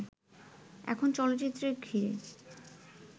এখন চলচ্চিত্রে ঘিরে